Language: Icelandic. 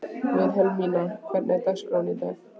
Vilhelmína, hvernig er dagskráin í dag?